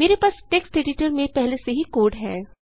मेरे पास text editor में पहले से ही कोड है